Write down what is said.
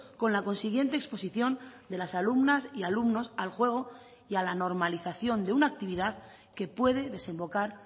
con la consiguiente exposición de las alumnas y alumnos al juego y a la normalización de una actividad que puede desembocar